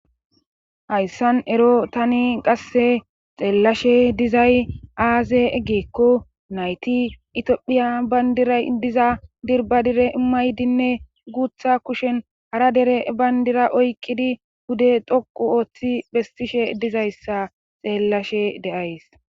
hayssan ero tani qasse xeellashe dizay aaze eggeekko nayti itiophiya bayndiray diza dirbadire imaydinne guutha kushen hara dere bayndira oykkidi bude toqu ooththi phestishe dizayssa xeellashe deays